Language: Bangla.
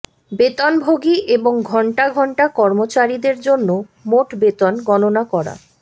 বেতনভোগী এবং ঘন্টা ঘণ্টা কর্মচারীদের জন্য মোট বেতন গণনা করা